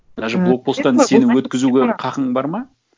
даже блокпосттан сені өткізуге хақың бар ма